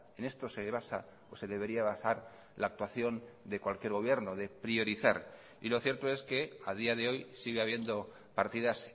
en esto se basa o se debería basar la actuación de cualquier gobierno de priorizar y lo cierto es que a día de hoy sigue habiendo partidas